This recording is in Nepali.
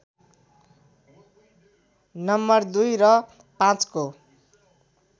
नं २ र ५ को